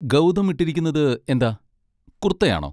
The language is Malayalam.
ഗൗതം ഇട്ടിരിക്കുന്നത് എന്താ, കുർത്തയാണോ?